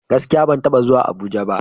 Gaskiya! Ban taba zuwa Abuja ba.